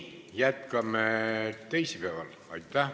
Jätkame teisipäeval.